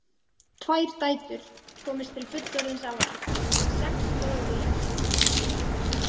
Tvær dætur komust til fullorðinsára en sex dóu í æsku.